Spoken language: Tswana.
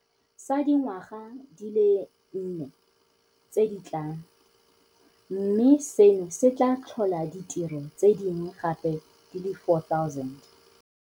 sa dingwaga di le nne tse di tlang, mme seno se tla tlhola ditiro tse dingwe gape di le 4 000.